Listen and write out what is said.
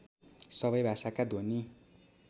सबै भाषाका ध्वनि